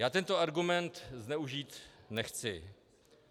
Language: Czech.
Já tento argument zneužít nechci.